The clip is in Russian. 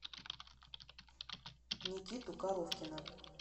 никиту коровкина